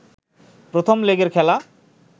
প্রথম লেগের খেলা